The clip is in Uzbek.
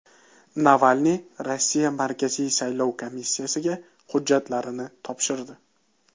Navalniy Rossiya markaziy saylov komissiyasiga hujjatlarini topshirdi.